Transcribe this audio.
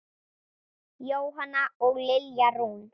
Jóhanna og Lilja Rún.